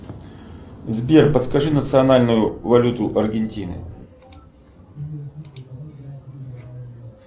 сбер подскажи национальную валюту аргентины